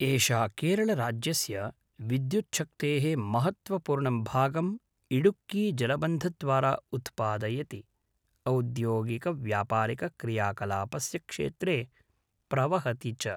एषा केरळराज्यस्य विद्युच्छक्तेः महत्त्वपूर्णं भागम् इडुक्कीजलबन्धद्वारा उत्पादयति, औद्योगिकव्यापारिकक्रियाकलापस्य क्षेत्रे प्रवहति च।